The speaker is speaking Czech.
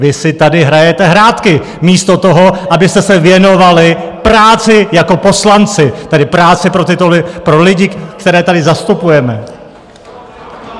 Vy si tady hrajete hrátky místo toho, abyste se věnovali práci jako poslanci, tedy práci pro lidi, které tady zastupujeme!